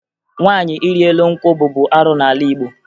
Nwaanyị ịrị elu nkwụ bụbu arụ n'ala Igbo